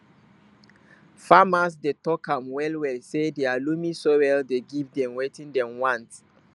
farmers dey talk am well well say dia loamy soil dey give dem watin dem want